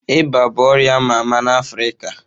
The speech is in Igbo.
Ịba bụ ọrịa a ma ama n'Afrịka